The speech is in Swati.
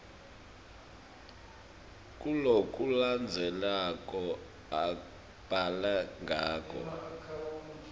kulokulandzelako ubhale ngako